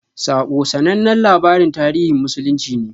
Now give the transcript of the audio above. "Saƙo" sanannen labarin tarihin musulunci ne.